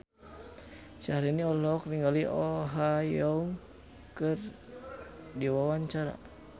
Syaharani olohok ningali Oh Ha Young keur diwawancara